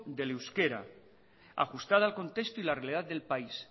del euskera ajustada al contexto y la realidad del país